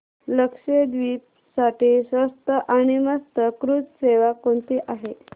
लक्षद्वीप साठी स्वस्त आणि मस्त क्रुझ सेवा कोणती आहे